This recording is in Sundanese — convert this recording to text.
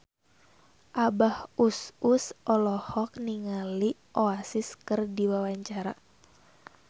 Abah Us Us olohok ningali Oasis keur diwawancara